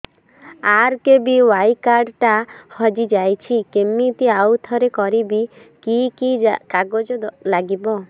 RKBY card ଟା ହଜିଯାଇଛି କିମିତି ଆଉଥରେ କରିବି କି କି କାଗଜ ଲାଗିବ